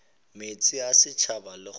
meetse a setšhaba le kgoro